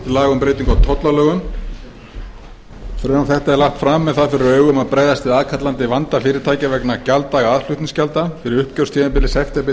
laga um breytingu á tollalögum frumvarp þetta er lagt fram með það fyrir augum að bregðast við aðkallandi vanda fyrirtækja vegna gjalddaga aðflutningsgjalda fyrir uppgjörstímabilið september